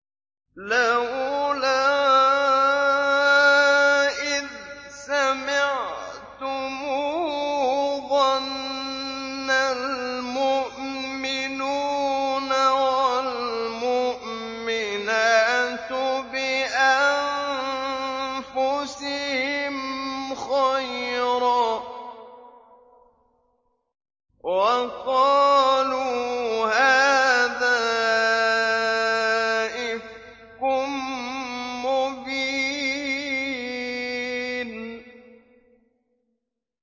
لَّوْلَا إِذْ سَمِعْتُمُوهُ ظَنَّ الْمُؤْمِنُونَ وَالْمُؤْمِنَاتُ بِأَنفُسِهِمْ خَيْرًا وَقَالُوا هَٰذَا إِفْكٌ مُّبِينٌ